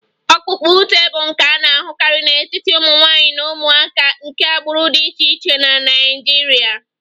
Ọkpụkpa ute bụ nka a na-ahụkarị n'etiti ụmụ nwanyị na ụmụaka nke agbụrụ dị iche iche na Nigeria